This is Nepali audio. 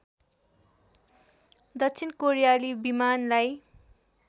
दक्षिण कोरियाली विमानलाई